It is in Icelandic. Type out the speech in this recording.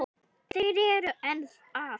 Þeir eru enn að.